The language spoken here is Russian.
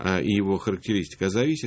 а и его характеристика зависит